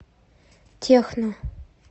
техно